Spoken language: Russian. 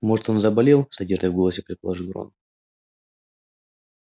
может он заболел с надеждой в голосе предположил рон